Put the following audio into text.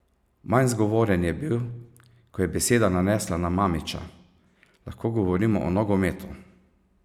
Manj zgovoren je bil, ko je beseda nanesla na Mamića: "Lahko govorimo o nogometu.